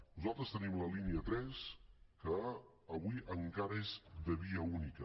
nosaltres tenim la línia tres que avui encara és de via única